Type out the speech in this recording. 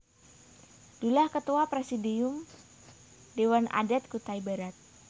Dullah Ketua Presidium Dewan Adat Kutai Barat